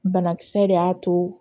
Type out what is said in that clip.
Banakisɛ de y'a to